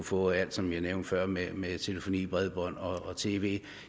få alt som jeg nævnte før med med telefoni bredbånd og tv